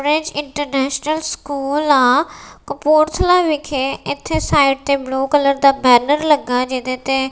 rich international school ਆ ਕਪੂਰਥਲਾ ਵਿੱਖੇ ਏੱਥੇ ਸਾਈਡ ਤੇ ਬਲੂ ਕਲਰ ਦਾ ਬੈਨਰ ਲੱਗਾ ਜਿਹਦੇ ਤੇ--